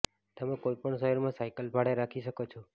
તમે કોઈ પણ શહેરમાં સાયકલ ભાડે રાખી શકો છો